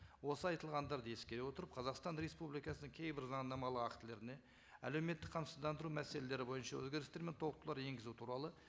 осы айтылғандарды ескере отырып қазақстан республикасының кейбір заңнамалық актілеріне әлеуметтік қамсыздандыру мәселелері бойынша өзгерістер мен толықтырулар енгізу туралы